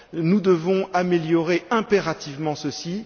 Nous devons améliorer impérativement ceci.